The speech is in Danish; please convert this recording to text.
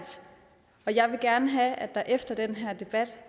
og jeg vil gerne have at det der efter den her debat